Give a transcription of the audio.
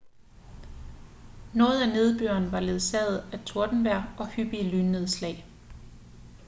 noget af nedbøren var ledsaget af tordenvejr og hyppige lynnedslag